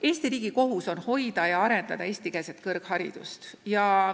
Eesti riigi kohus on hoida ja arendada eestikeelset kõrgharidust.